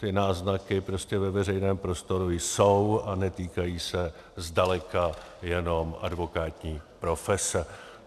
Ty náznaky prostě ve veřejném prostoru jsou a netýkají se zdaleka jenom advokátní profese.